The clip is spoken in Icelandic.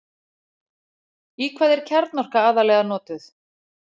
í hvað er kjarnorka aðallega notuð